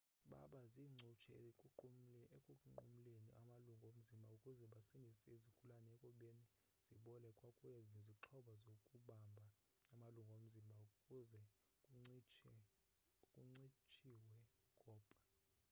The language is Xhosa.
baba ziincutshe ekunqumleni amalungu omzimba ukuze basindise izigulana ekubeni zibole kwakunye nezixhobo zokubamba amalungu omzimba ukuze kuncitshiwe ukopha